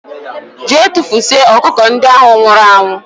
Gee tufusie ọkụkọ ndị ahụ nwụrụ anwụ!!!